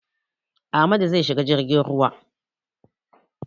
Amadu zai shiga jirgin ruwa.